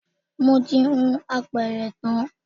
Mo ti hun apẹ̀rẹ̀ tán